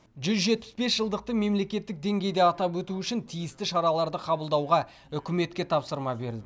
жүз жетпіс бес жылдықты мемлекеттік деңгейде атап өту үшін тиісті шараларды қабылдауға үкіметке тапсырма берілді